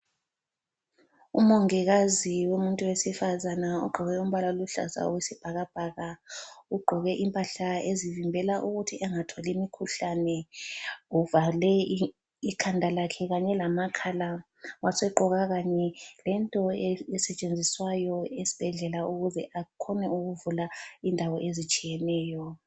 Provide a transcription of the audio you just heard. Umongikazi umuntu wesifazane ugqoke umbala oluhlaza okwesibhakabhaka. Ugqoke impahla ezivimbela ukuthi engatholi imikhuhlane. Uvale ikhanda lakhe kanye lamakhala wasegqoka kanye lento esetshenziswayo esibhedlela ukuze akhone ukuvula indawo ezitshiyeneyo.